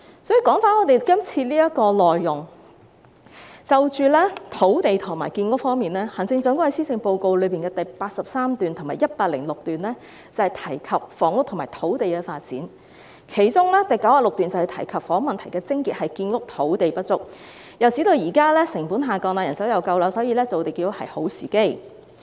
說回今天的議題，在土地和建屋方面，行政長官在施政報告第83段至第106段提到房屋和土地發展，其中第96段提及房屋問題的癥結是建屋土地不足，又指現在建築成本下降、人手充足，所以是造地建屋的好時機。